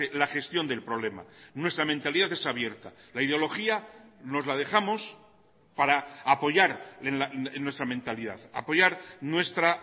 la gestión del problema nuestra mentalidad es abierta la ideología nos la dejamos para apoyar en nuestra mentalidad apoyar nuestra